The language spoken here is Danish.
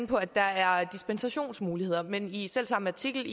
på at der er dispensationsmuligheder men i selv samme artikel